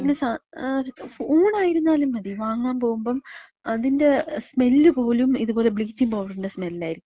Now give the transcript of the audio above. എന്തെങ്കിലും സാധനം, ഊണായിരുന്നാലും മതി വാങ്ങാൻ പോകുമ്പം അതിന്‍റെ സ്മെല്ല് പോലും ഇതുപോല ബ്ലീച്ചിങ്ങ് പൗഡറിന്‍റെ സ്മെല്ലായിരിക്കും.